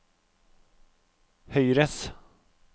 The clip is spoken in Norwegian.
høyres